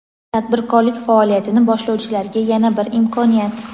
Tadbirkorlik faoliyatini boshlovchilarga yana bir imkoniyat!.